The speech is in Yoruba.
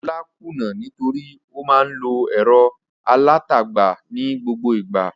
Olá kùnnà nítorí ó máa ń lo ẹ̀rọ alátagbà ní gbogbo ìgbà.